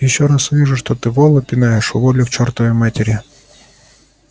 ещё раз увижу что ты вола пинаешь уволю к чёртовой матери